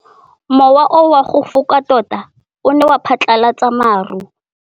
Mowa o wa go foka tota o ne wa phatlalatsa maru.